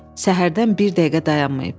Səhərdən bir dəqiqə dayanmayıb.